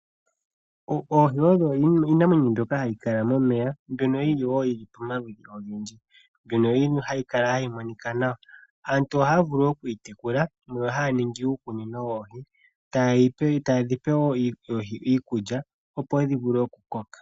Oohi odho iinamwenyo mbyoka hayi kala momeya mbyono yili woo pomaludhi ogendji no hayi monika nawa. Aantu ohaya vulu okuyi tekula, haya ningi uukunino woohi, taye dhi pe iikulya opo dhi vule okukoka.